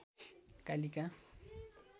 Kalika